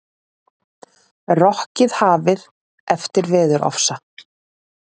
Rokkið hafið eftir veðurofsa